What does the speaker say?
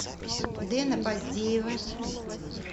дэна поздеева